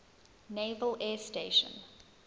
naval air station